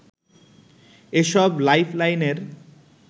এসব লাইফলাইনের